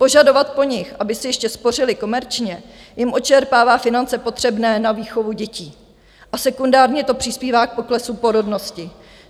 Požadovat po nich, aby si ještě spořili komerčně, jim odčerpává finance potřebné na výchovu dětí a sekundárně to přispívá k poklesu porodnosti.